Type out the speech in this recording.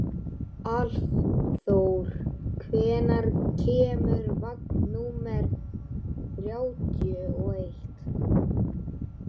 Álfþór, hvenær kemur vagn númer þrjátíu og eitt?